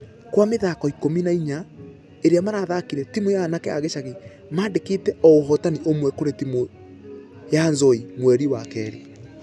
Gwa mĩthako ikũmi na inya iria marathakire timũ ya anake a gĩcagi mandĩkĩte o ũhotani ũmwe kũrĩ timũ ya nzoia mweri wa kerĩ.